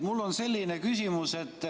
Mul on selline küsimus.